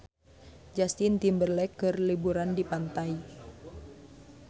Justin Timberlake keur liburan di pantai